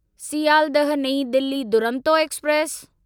Sealdah Nai Delhi Duronto express